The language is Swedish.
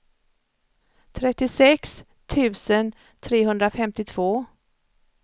trettiosex tusen trehundrafemtiotvå